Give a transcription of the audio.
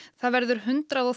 það verður hundrað og